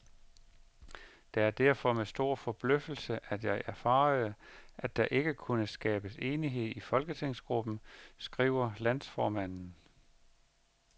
Det er derfor med stor forbløffelse, at jeg erfarede, at der ikke kunne skabes enighed i folketingsgruppen, skriver landsformanden.